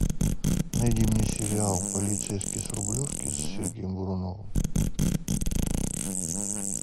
найди мне сериал полицейский с рублевки с сергеем буруновым